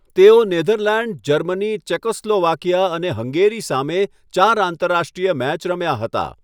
તેઓ Netherland, Germany, Czechoslovakia અને Hungary સામે ચાર આંતરરાષ્ટ્રીય મેચ રમ્યા હતા.